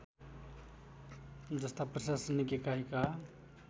जस्ता प्रशासनिक एकाइका